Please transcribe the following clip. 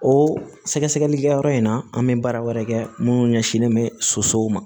O sɛgɛsɛgɛlikɛyɔrɔ in na an bɛ baara wɛrɛ kɛ minnu ɲɛsinnen bɛ sosow ma